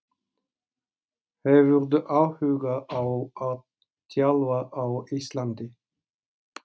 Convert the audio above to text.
Hefurðu áhuga á að þjálfa á Íslandi?